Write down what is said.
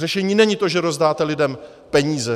Řešení není to, že rozdáte lidem peníze.